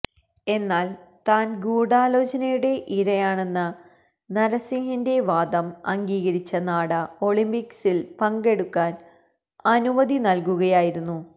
എന്നാല് താന് ഗൂഢാലോചനയുടെ ഇരയാണെന്ന നര്സിംഗിന്റെ വാദം അംഗീകരിച്ച നാഡ ഒളിംപിക്സില് പങ്കെടുക്കാന് അനുമതി നല്കുകയായിരുന്നു